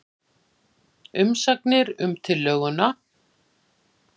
Umsagnir um tillöguna